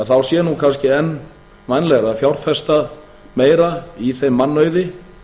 þá sé kannski enn vænlegra að fjárfesta meira í þeim mannauði